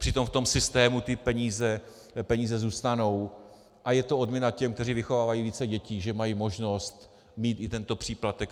Přitom v tom systému ty peníze zůstanou a je to odměna těm, kteří vychovávají více dětí, že mají možnost mít i tento příplatek.